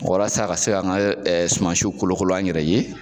Walasa a ka se ka an ka suma siw kolokolo an yɛrɛ ye.